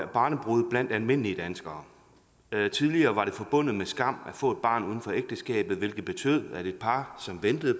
barnebrude blandt almindelige danskere tidligere var det forbundet med skam at få et barn uden for ægteskabet hvilket betød at et par som ventede